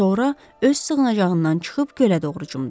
Sonra öz sığınacağından çıxıb gölə doğru cumdu.